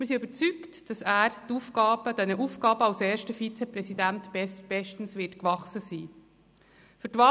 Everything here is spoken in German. Wir sind überzeugt, dass er den Aufgaben als erster Vizepräsident bestens gewachsen sein wird.